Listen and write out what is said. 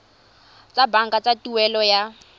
tsa banka tsa tuelo ya